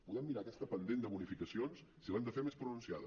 podem mirar aquest pendent de bonificacions si l’hem de fer més pronunciada